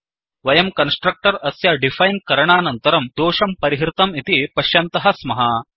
वयं कन्स्ट्रक्टर् अस्य डिफैन् करणानन्तरं दोषं परिहृतं इति पश्यन्तः स्मः